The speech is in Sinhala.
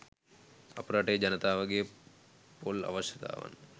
අප රටේ ජනතාවගේ පොල් අවශ්‍යතාවන්